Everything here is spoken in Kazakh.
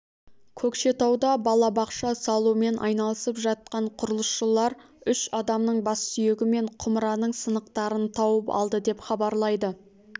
көкшетауда балабақша салумен айналысып жатқан құрылысшыларүш адамның бас сүйегі мен құмыраның сынықтарын тауып алды деп хабарлайды